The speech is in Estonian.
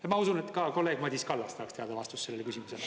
Ja ma usun, et ka kolleeg Madis Kallas tahaks teada vastust sellele küsimusele.